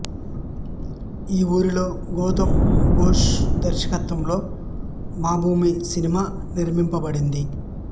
ఈ వూరిలో గౌతమ్ ఘోష్ దర్శకత్వంలో మాభూమి సినిమా నిర్మింపబడింది